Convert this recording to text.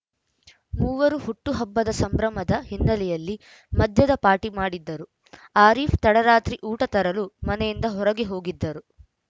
ಮೂವರು ಹುಟ್ಟುಹಬ್ಬದ ಸಂಭ್ರಮದ ಹಿನ್ನೆಲೆಯಲ್ಲಿ ಮದ್ಯದ ಪಾರ್ಟಿ ಮಾಡಿದ್ದರು ಆರೀಫ್‌ ತಡರಾತ್ರಿ ಊಟ ತರಲು ಮನೆಯಿಂದ ಹೊರಗೆ ಹೋಗಿದ್ದರು